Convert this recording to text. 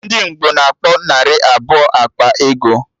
Ndị Ngbo na-akpọ narị abụọ ekpe ego